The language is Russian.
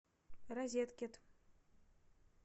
розеткед